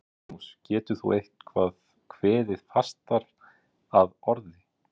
Magnús, getur þú eitthvað kveðið fastar að orði?